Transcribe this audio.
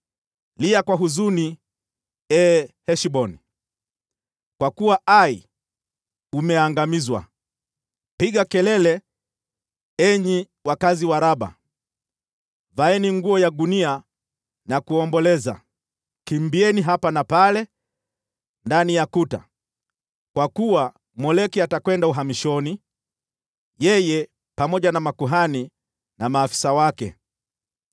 “Lia kwa huzuni, ee Heshboni, kwa kuwa Ai umeangamizwa! Pigeni kelele, enyi wakazi wa Raba! Vaeni nguo za gunia na kuomboleza, kimbieni hapa na pale ndani ya kuta, kwa kuwa Moleki atakwenda uhamishoni, yeye pamoja na makuhani na maafisa wake.